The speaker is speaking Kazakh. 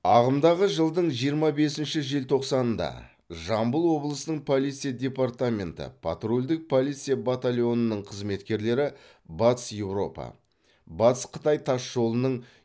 ағымдағы жылдың жиырма бесінші желтоқсанында жамбыл облысының полиция департаменті патрульдік полиция батальонының қызметкерлері батыс еуропа батыс қытай тас жолының